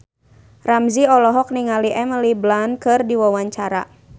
Ramzy olohok ningali Emily Blunt keur diwawancara